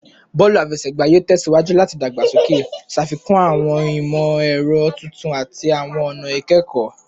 Bọọlu afẹsẹgba yoo tẹsiwaju lati dagbasoke, ṣafikun awọn imọ-ẹrọ tuntun ati awọn ọna ikẹkọ